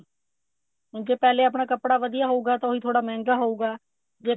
ਜੇ ਪਹਿਲੇ ਆਪਣਾ ਕੱਪੜਾ ਵਧੀਆ ਹੋਊਗਾ ਤਾ ਉਹੀ ਥੋੜਾ ਮਹਿੰਗਾ ਹੋਊਗਾ ਜੇ